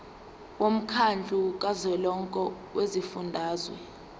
womkhandlu kazwelonke wezifundazwe